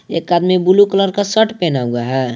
एक आदमी blue colour का शर्ट पहना हुआ है।